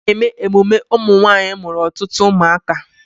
A na-eme emume ụmụnwaanyị mụrụ ọtụtụ ụmụaka.